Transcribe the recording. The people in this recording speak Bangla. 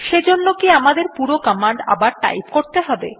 সেজন্য কি আমাদের পুরো কমান্ড আবার টাইপ করতে হবে